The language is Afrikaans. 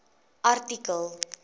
artikel